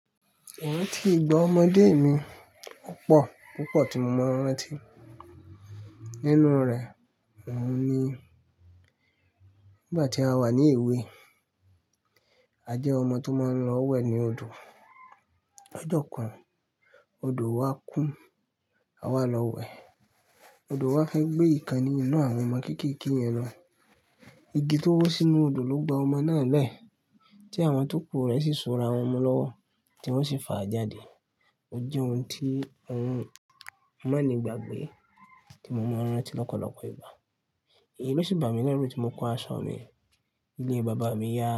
Mo ti gbọ́ ọmọdé mi púpọ̀ púpọ̀ tí mo mọ̀ n rántí. Nínú rẹ̀, òun ni nígbà tí a wà ní ìwé, a jẹ́ ọmọ tó máa ń lọ wẹ̀ ní odò. Ọjọ́ kan, odò wá kún, àwa lọ wẹ̀, odò wá fẹ́ gbé ìkan ní inú àwọn ọmọ kéékèèké yẹn lọ. Igi tó wọ́ sínú odò ló gbá ọmọ náà lẹ́ẹ̀. Tí àwọn tókù rẹ̀ sì so ara wọn mú lọ́wọ́, tí wọ́n sì fà á jáde. Ó jẹ́ ohun tí òun má ni gbagbe, tí mo mọ̀ rántí lọ́pọ̀lọpọ̀ ìgbà. Èyí ló sì bà mí lẹ́ru tí mo kó aṣọ mi ile bàbá mi yá.